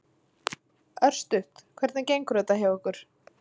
Örstutt, hvernig gengur þetta hjá ykkur?